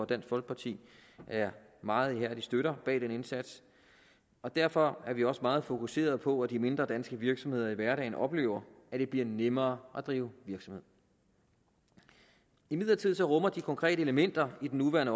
dansk folkeparti er meget ihærdige støtter bag den indsats og derfor er vi også meget fokuseret på at de mindre danske virksomheder i hverdagen oplever at det bliver nemmere at drive virksomhed imidlertid rummer de konkrete elementer i den nuværende